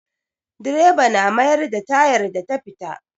Direba na mayar da tayar da ta fita.